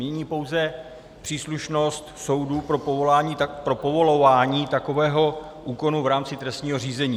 Mění pouze příslušnost soudů pro povolování takového úkonu v rámci trestního řízení.